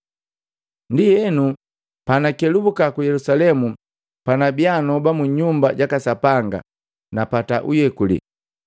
“Ndienu, pana kelubuka ku Yelusalemu, panabia noba mu Nyumba jaka Sapanga, napata uyekuli.